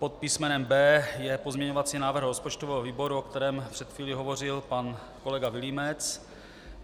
Pod písmenem B je pozměňovací návrh rozpočtového výboru, o kterém před chvílí hovořil pan kolega Vilímec.